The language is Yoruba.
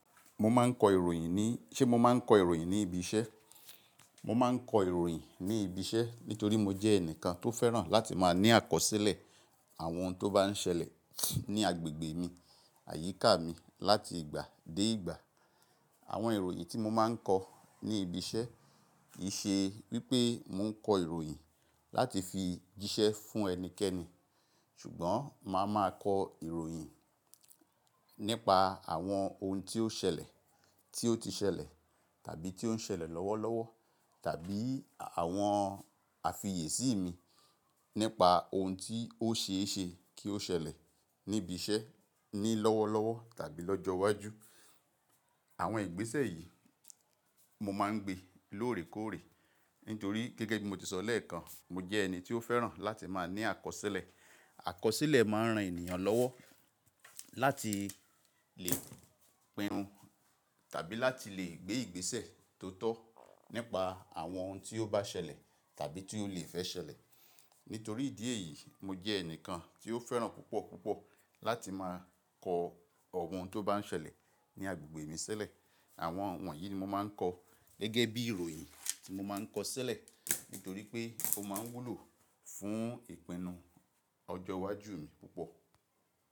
Mo máa ń kọ ìròyìn ní, ṣe mo máa ń kọ ìròyìn ní ibi iṣẹ́? Mo máa ń kọ ìròyìn ní ibi iṣẹ́ nítorí mo jẹ́ ẹnìkan tó fẹ́ràn láti máa ní àkọsílẹ̀ àwọn ohun tó bá ń ṣẹlẹ̀ ní agbègbè mi, àyíká mi láti ìgbà dé ìgbà. Àwọn ìròyìn tí mo máa ń kọ ní ibi iṣẹ́ kì í ṣe wípé mo ń kọ ìròyìn láti fi jíṣẹ́ fún ẹnikẹ́ni, ṣùgbọ́n màá máa kọ ìròyìn nípa àwọn ohun tí ó ṣẹlẹ̀, tí ó ti ṣẹlẹ̀ tàbí tí ó ń ṣẹlẹ̀ lọ́wọ́lọ́wọ́ tàbí àwọn àfiyèsí mi nípa ohun tí ó ṣe é ṣe kí ó ṣẹlẹ̀ níbi iṣẹ́ ní lọ́wọ́lọ́wọ́ tàbí lọ́jọ́ iwájú. Àwọn ìgbésẹ̀ yìí mo máa ń gbe lóòrèkóòrè nítorí gẹ́gẹ́ bí mo ti sọ lẹ́ẹ̀kan, mo jẹ́ ẹni tí ó fẹ́ràn láti máa ní àkọsílẹ̀. Àkọsílẹ̀ máa ń ran ènìyàn lọ́wọ́ láti lè pinu tàbí láti lè gbé ìgbésẹ̀ tó tọ́ nípa àwọn ohun tí ó bá ṣẹlẹ̀ tàbí tí ó le fẹ́ ṣẹlẹ̀. Nítorí ìdí èyí, mo jẹ́ ẹnìkan tí ó fẹ́ràn púpọ̀ púpọ̀ láti máa kọ àwọn ohun tó bá ń ṣẹlẹ̀ ní agbègbè mi sílẹ̀. Àwọn wọ̀nyí ni mo máa ń kọ gẹ́gẹ́ bí ìròyìn tí mo máa ń kọ sílẹ̀ nítorí pé ó máa ń wúlò fún ìpinnu ọjọ́ iwájú mi púpọ̀.